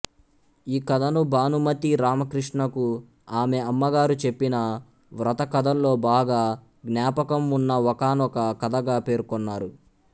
ఈ కథను భానుమతి రామకృష్ణకు ఆమె అమ్మగారు చెప్పిన వ్రతకథల్లో బాగా జ్ఞాపకం వున్న ఒకానొక కథగా పేర్కొన్నారు